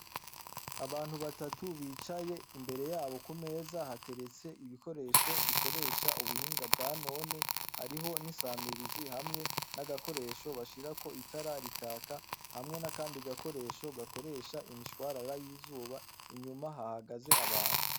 Abantu batatu bicaye imbere yabo ku meza hateretse ibikoresho bikoresha ubuhinga bwa none hariho n'isamirizi hamwe n'agakoresho bashirako itararikaka hamwe na, kandi gakoresho gakoresha imishwarara y'izuba inyuma hahagaze abantu.